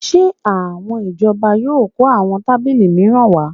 Ṣé àwọn ìjọba yóò kó àwọn tábìlì mìíràn wá?